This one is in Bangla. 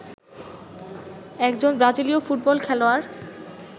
একজন ব্রাজিলীয় ফুটবল খেলোয়াড়